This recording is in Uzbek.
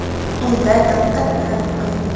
Unda diqqat bilan o‘qing.